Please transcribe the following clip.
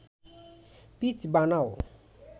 pitch বানাও